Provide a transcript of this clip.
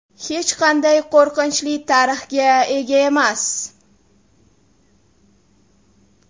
Hech qanday qo‘rqinchli tarixga ega emas.